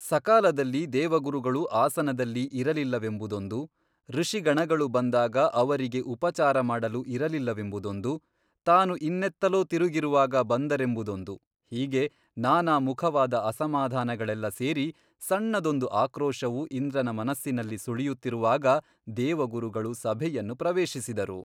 ಸಕಾಲದಲ್ಲಿ ದೇವಗುರುಗಳು ಆಸನದಲ್ಲಿ ಇರಲಿಲ್ಲವೆಂಬುದೊಂದು ಋಷಿಗಣಗಳು ಬಂದಾಗ ಅವರಿಗೆ ಉಪಚಾರಮಾಡಲು ಇರಲಿಲ್ಲವೆಂಬುದೊಂದು ತಾನು ಇನ್ನೆತ್ತಲೋ ತಿರುಗಿರುವಾಗ ಬಂದರೆಂಬುದೊಂದು ಹೀಗೆ ನಾನಾ ಮುಖವಾದ ಅಸಮಾಧಾನಗಳೆಲ್ಲ ಸೇರಿ ಸಣ್ಣದೊಂದು ಆಕ್ರೋಶವು ಇಂದ್ರನ ಮನಸ್ಸಿನಲ್ಲಿ ಸುಳಿಯುತ್ತಿರುವಾಗ ದೇವಗುರುಗಳು ಸಭೆಯನ್ನು ಪ್ರವೇಶಿಸಿದರು.